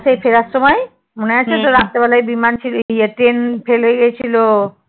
সেই ফেরার সময় মনে আছে তোর? রাত্রেবেলায় বিমান ছেড়ে দিয়ে এই ট্রেন fail হয়ে গেছিলো?